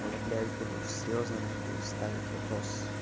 я блять буду серьёзно на хуй ставить вопрос